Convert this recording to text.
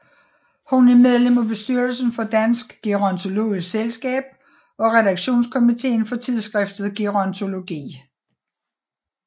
Hun er medlem af bestyrelsen for Dansk Gerontologisk Selskab og redaktionskomiteen for tidsskriftet Gerontologi